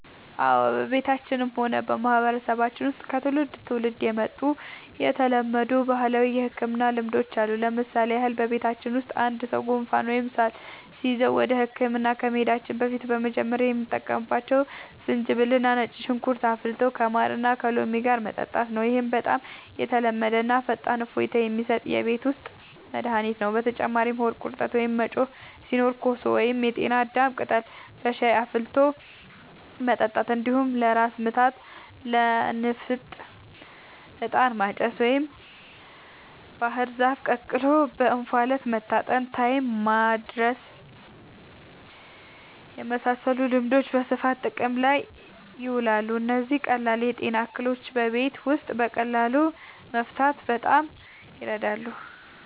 አዎ፣ በቤተሰባችንም ሆነ በማህበረሰባችን ውስጥ ከትውልድ ወደ ትውልድ የመጡ የተለመዱ ባህላዊ የሕክምና ልማዶች አሉ። ለምሳሌ ያህል፣ በቤተሰባችን ውስጥ አንድ ሰው ጉንፋን ወይም ሳል ሲይዘው ወደ ሕክምና ከመሄዳችን በፊት መጀመሪያ የምንጠቀመው ዝንጅብልና ነጭ ሽንኩርት አፍልቶ ከማርና ከሎሚ ጋር መጠጣት ነው። ይህ በጣም የተለመደና ፈጣን እፎይታ የሚሰጥ የቤት ውስጥ መድኃኒት ነው። በተጨማሪም ሆድ ቁርጠት ወይም መጮህ ሲኖር ኮሶ ወይም የጤና አዳም ቅጠል በሻይ ውስጥ አፍልቶ መጠጣት፣ እንዲሁም ለራስ ምታትና ለንፍጥ «ዕጣን ማጨስ» ወይም ባህር ዛፍ ተቀቅሎ በእንፋሎት መታጠንን (ታይም ማድረስ) የመሳሰሉ ልማዶች በስፋት ጥቅም ላይ ይውላሉ። እነዚህ ቀላል የጤና እክሎችን በቤት ውስጥ በቀላሉ ለመፍታት በጣም ይረዳሉ።